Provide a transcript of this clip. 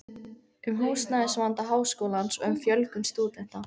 um húsnæðisvanda Háskólans og um fjölgun stúdenta